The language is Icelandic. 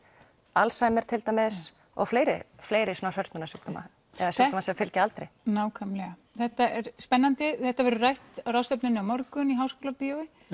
Alzheimer og fleiri fleiri svona hrörnunarsjúkdóma eða sjúkdóma sem fylgja aldri nákvæmlega þetta er spennandi þetta verður rætt á ráðstefnunni á morgun í Háskólabíói